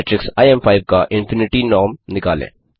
matrix इम5 का infinity norm निकालें